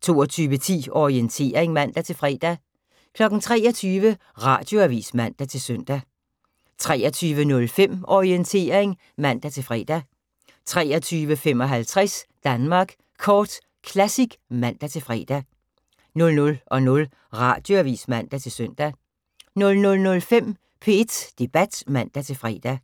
22:10: Orientering (man-fre) 23:00: Radioavis (man-søn) 23:05: Orientering (man-fre) 23:55: Danmark Kort Classic (man-fre) 00:00: Radioavis (man-søn) 00:05: P1 Debat (man-fre)